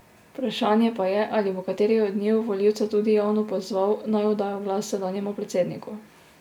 Vprašanje pa je, ali bo kateri od njiju volivce tudi javno pozval, naj oddajo glas sedanjemu predsedniku.